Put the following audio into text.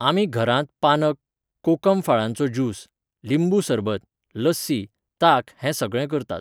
आमी घरांत पानक, कोकम फळांचो ज्यूस, लिंबू सरबत, लस्सी, ताक हें सगळें करतात